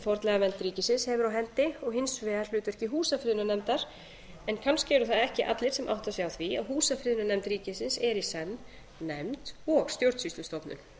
fornleifavernd ríkisins hefur á hendi og hins vegar hlutverki húsafriðunarnefndar en kannski eru það ekki allir sem átta sig á því að húsafriðunarnefnd ríkisins er í senn nefnd og stjórnsýslustofnun